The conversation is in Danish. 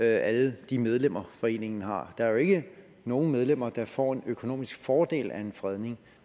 alle de medlemmer foreningen har der er jo ikke nogen medlemmer der får en økonomisk fordel af en fredning